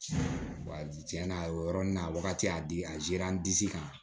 tiɲɛ na a o yɔrɔnin na wagati y'a di a zera an disi kan